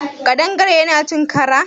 ƙadangare Yana yin ƙara?